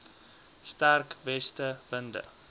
sterk weste winde